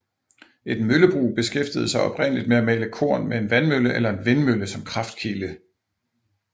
Et møllebrug beskæftigede sig oprindeligt med at male korn med en vandmølle eller en vindmølle som kraftkilde